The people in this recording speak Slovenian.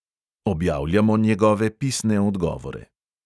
Objavljamo njegove pisne odgovore.